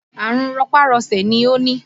Àrùn rọpá-rọṣẹ̀ ni ó ni